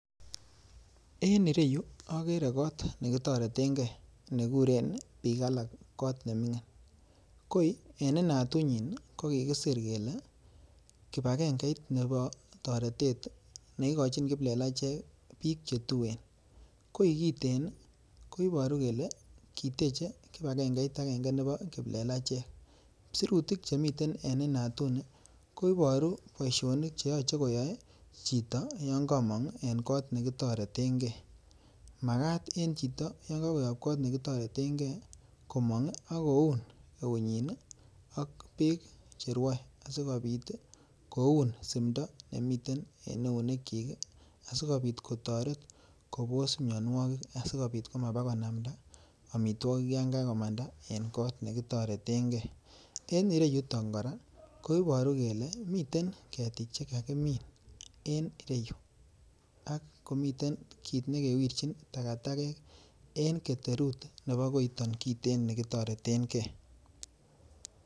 En ireyu okere koot nekitoreteng'e nekuren biik alak kot neming'in, koii en inatunyin ko kikisir kelee kibakeng'eit nebo toretet neikochin kiplelachek biik chetuen, koii kiten ko iboru kelee kiteche kibakeng'eit akeng'e nebo kiplelachek, sirutik chemiten en inatuni ko iboru boishonik cheyoche koyoe chito yoon komong en kot nekitoreteng'e, makaat en chito yoon kokoyob kot nekitoreteng'e komong ak koun eunyin ak beek cherwoe sikobit koun simndo nemiten en eunekyik asikobit kotoret kobos mionwokik asikobit komaba konamnda amitwokik yoon kakomanda en kot nekitoreteng'e, en ireyuton kora koboru kelee miten ketik chekakimin en ireyu ak komiten kiit nekewirchin takatakek en keterut nebo koiton kiten nikitoreteng'e.